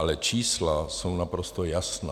Ale čísla jsou naprosto jasná.